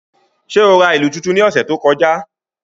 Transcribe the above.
Ṣe o ra ilu tuntun ni ọsẹ to kọja?